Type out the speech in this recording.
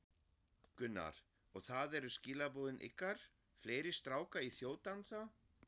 Gunnar: Og það eru skilaboðin ykkar, fleiri stráka í þjóðdansa?